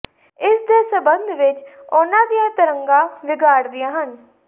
ਇਸ ਦੇ ਸੰਬੰਧ ਵਿਚ ਉਨ੍ਹਾਂ ਦੀਆਂ ਤਰੰਗਾਂ ਵਿਗਾੜਦੀਆਂ ਹਨ